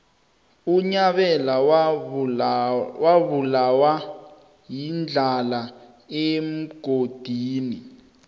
unyabela wabulawa yindlala emgodini